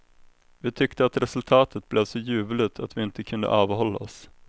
Vi tyckte att resultatet blev så ljuvligt att vi inte kunde avhålla oss.